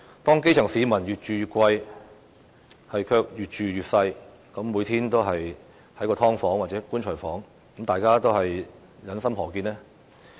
當基層市民越住越貴，卻越住越細，每天窩居在"劏房"或"棺材房"，大家又於心何忍呢？